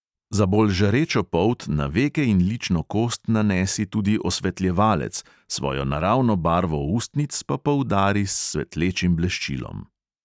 Za bolj žarečo polt na veke in lično kost nanesi tudi osvetljevalec, svojo naravno barvo ustnic pa poudari s svetlečim bleščilom.